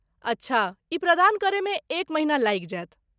अच्छा, ई प्रदान करयमे एक महिना लागि जायत।